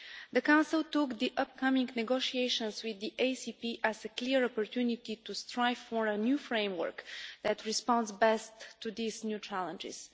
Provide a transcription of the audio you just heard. The Council took the upcoming negotiations with the ACP as a clear opportunity to strive for a new framework that responds most effectively to these new challenges.